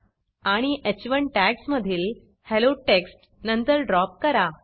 आणि ह1 टॅग्ज मधील हेल्लो टेक्स्ट नंतर ड्रॉप करा